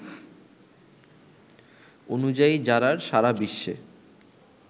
অনুযায়ী জারার সারা বিশ্বে